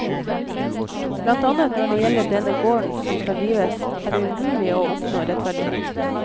Blant annet når det gjelder denne gården, som skal rives, er det umulig å oppnå rettferdighet.